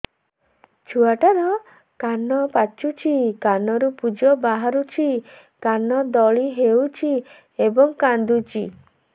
ଛୁଆ ଟା ର କାନ ପାଚୁଛି କାନରୁ ପୂଜ ବାହାରୁଛି କାନ ଦଳି ହେଉଛି ଏବଂ କାନ୍ଦୁଚି